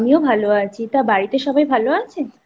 আমিও ভালো আছি তা বাড়িতে সবাই ভালো আছে?